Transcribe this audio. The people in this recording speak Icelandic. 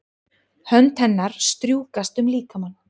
Hönd hennar strjúkast um líkamann.